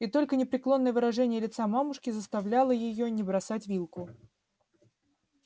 и только непреклонное выражение лица мамушки заставляло её не бросать вилку